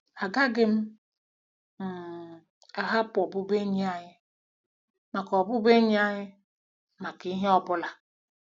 Agaghị m um ahapụ ọbụbụenyi anyị maka ọbụbụenyi anyị maka ihe ọ bụla.